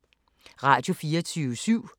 Radio24syv